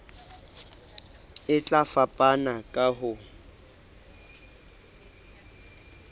e tla fapana ka ho